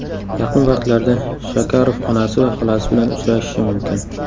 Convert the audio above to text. Yaqin vaqtlarda Shakarov onasi va xolasi bilan uchrashishi mumkin.